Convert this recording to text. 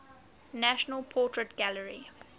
national portrait gallery